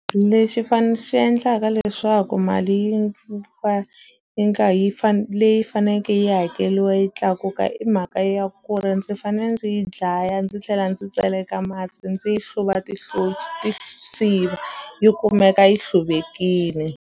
Lexi fane xi endlaka leswaku mali yi va yi nga yi leyi faneke yi hakeliwe yi tlakuka i mhaka ya ku ri ndzi fane ndzi yi dlaya ndzi tlhela ndzi tseleka mati ndzi yi hluva ti siva yi kumeka yi hluvekini.